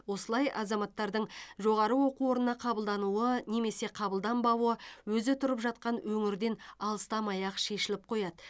осылай азаматтардың жоғары оқу орнына қабылдануы немесе қабылданбауы өзі тұрып жатқан өңірден алыстамай ақ шешіліп қояды